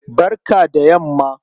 Barka da yamma.